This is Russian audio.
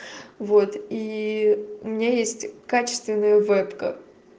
вот и у меня есть качественная вебка